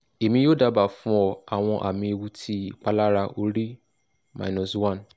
emi yoo daba fun ọ awọn ami ewu ti ipalara ori one